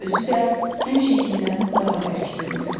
Özü də həmişəkindən daha bərk döyünürdü.